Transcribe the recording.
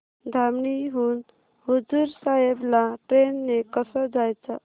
धामणी हून हुजूर साहेब ला ट्रेन ने कसं जायचं